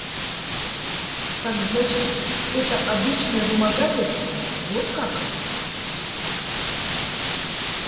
так значит это обычное вымогательство вот как